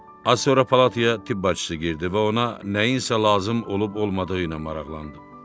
Az sonra palataya tibb bacısı girdi və ona nəyinsə lazım olub-olmadığı ilə maraqlandı.